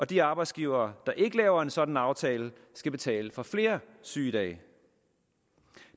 de arbejdsgivere der ikke laver en sådan aftale skal betale for flere sygedage